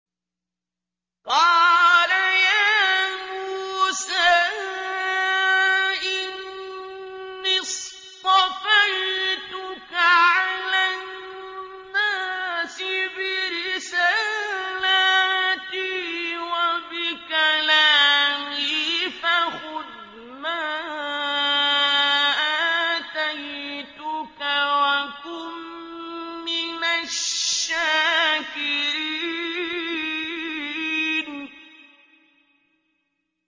قَالَ يَا مُوسَىٰ إِنِّي اصْطَفَيْتُكَ عَلَى النَّاسِ بِرِسَالَاتِي وَبِكَلَامِي فَخُذْ مَا آتَيْتُكَ وَكُن مِّنَ الشَّاكِرِينَ